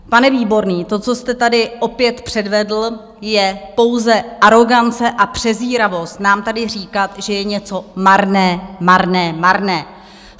Pane Výborný, to, co jste tady opět předvedl, je pouze arogance a přezíravost, nám tady říkat, že je něco marné, marné, marné.